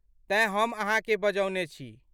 तेँ हम अहाँकेँ बजौने छी।